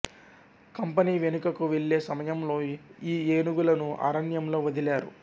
company వెనుకకు వెళ్ళే సమయంలో ఈ ఏనుగులను అరణ్యంలో వదిలారు